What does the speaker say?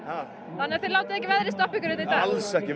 þannig þið látið ekki veðrið stoppa ykkur hérna í dag alls ekki